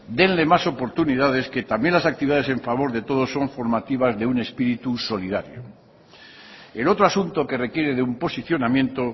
denle más oportunidades que también las actividades en favor de todos son formativas de un espíritu solidario el otro asunto que requiere de un posicionamiento